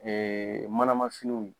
manama finiw